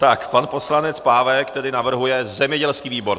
Tak pan poslanec Pávek tedy navrhuje zemědělský výbor.